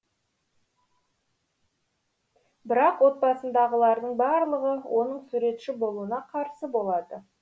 бірақ отбасындағылардың барлығы оның суретші болуына қарсы болады